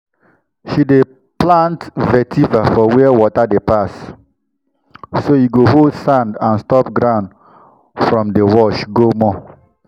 she dey plant vetiver for where water dey pass so e go hold sand and stop ground from dey wash go more.